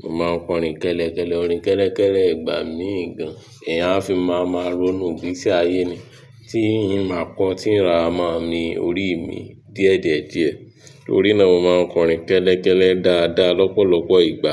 Mo máa ń kọrin kẹ́lẹ́ kẹ́lẹ́, orin kẹ́lẹ́ kẹ́lẹ́ ìgbà mí gan, eeyán ààfin máa máa ronú ìgbésí tí ayé ni tí ì ń máa kọ, tí n ra máa mi orí mi díẹ̀ díẹ̀ díẹ̀. Torí ná mo ma ń kọrin kẹ́lẹ́kẹ́lẹ́ dáadáa ní ọ̀pọ̀ ìgbà.